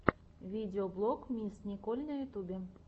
видеоблог мисс николь на ютюбе